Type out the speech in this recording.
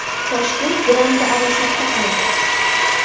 Toshkent grandi arosatda qoldi.